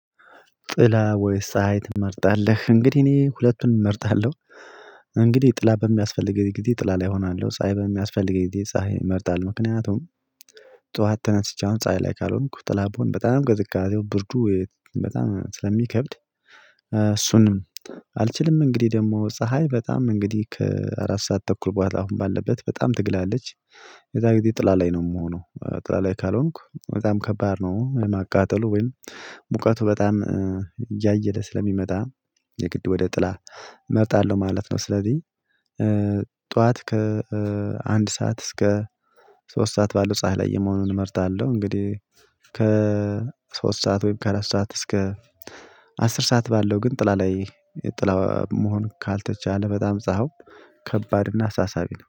ጥላ ወይስ ፀሀይ ትመርጣለህ? እንግዲህ እኔ ሁለቱን እመርጣለሁ። እንግዲህ ጥላ በሚያስፈልገኝ ጊዜ ጥላ ላይ እሆናለሁ ሳይ በሚያስፈልገኝ ጊዜ ፀሀይ እመርጣለሁ ምክንያቱም ጠዋት ተነስቼ አሁን ፀሀይ ላይ ካልሆንኩ ተላብሆን በጣም ቅዝጋዜው ብርዱ በጣም ስለሚከብድ። እሱንም አልችልም። እንግዲህ ደግሞ ፀሀይ በጣም እንግዲህ ከአራት ሰዓት ተኩል በኋላ አሁን ባለበት በጣም ትግላለች። የዛን ጊዜ ጥላ ላይ ነው የምሆነው። ጥላ ላይ ካልሆንኩ በጣም ከባድ ነው። የማቃጠሉ ወይም ሙቀቱ በጣም እያየለ ስለሚመጣ የግድ ወደ ጥላ እመርጣለሁ ማለት ነው። ስለዚህ ጠዋት ከአንድ ሰዓት እስከ ሶስት ሰዓት ባለው ፀሀይ ላይ የመሆኑን እመርጣለሁ። እንግዲህ ከ ሶስት ሰዓት ወይም ከአራስ ሰዓት እስከ አስር ሰዓት ባለው ግን ጥላ ላይ ጥላ መሆን ካልተቻለ በጣም ፀሀዩ ከባድ እና አሳሳቢ ነው